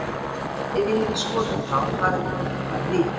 Ef ég hefði skotið þá hefði boltinn farið í hann.